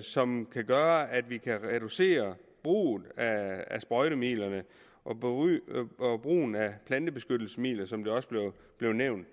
som kan gøre at vi kan reducere brugen af sprøjtemidler og brugen af plantebeskyttelsesmidler som det også blev nævnt